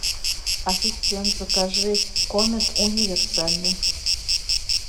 ассистент закажи комет универсальный